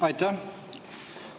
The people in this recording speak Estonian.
Aitäh!